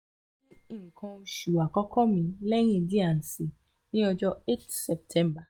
mo ni nkan osu akọkọ mi lẹhin d and c ni ọjọ eighth september